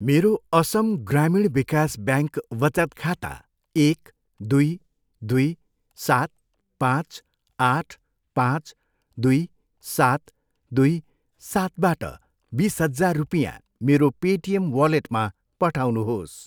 मेरो असम ग्रामीण विकास ब्याङ्क वचत खाता एक, दुई, दुई, सात, पाँच, आठ, पाँच, दुई, सात, दुई, सातबाट बिस हजार रुपियाँ मेरो पेटिएम वालेटमा पठाउनुहोस्।